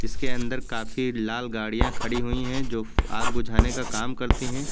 इसके अंदर काफी लाल गाड़ियां खड़ी हुई हैं जो आग बुझाने का काम करते हैं।